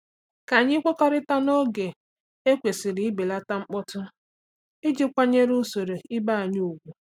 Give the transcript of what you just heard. Ka anyị kwekọrịta n'oge e kwesịrị ibelata mkpọtụ iji kwanyere usoro ibe anyị ùgwù.